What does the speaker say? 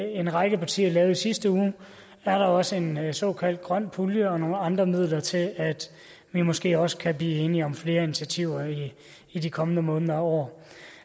en række partier lavede i sidste uge er der også en såkaldt grøn pulje og nogle andre midler til at vi måske også kan blive enige om flere initiativer i de kommende måneder og år